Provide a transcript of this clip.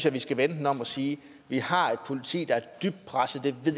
at vi skal vende den om og sige vi har et politi der er dybt presset det ved